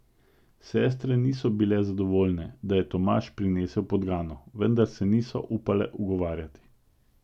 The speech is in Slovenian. Sestre niso bile zadovoljne, da je Tomaž prinesel podgano, vendar se niso upale ugovarjati.